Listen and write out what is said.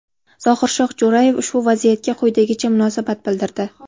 Zohirshoh Jo‘rayev ushbu vaziyatga quyidagicha munosabat bildirdi .